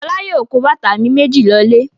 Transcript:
Fọlá yóò kó bàtà mi méjì lọlé.